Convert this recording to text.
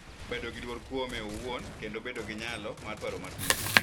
Bedo gi luor kuome owuon, kendo bedo gi nyalo mar paro matut.